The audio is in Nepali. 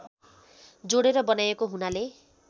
जोडेर बनाइएको हुनाले